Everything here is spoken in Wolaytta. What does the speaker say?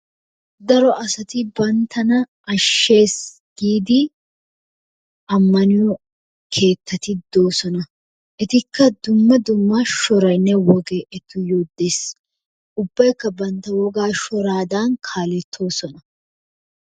Daro asati banttana ashshees giidi ammaniyo keettati doosona. Etikka dumma dumma shoraynne wogay etuyyo de'ees. Ubbaykk bantta wogaa shoraadan kaalettoosona.